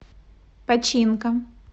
починка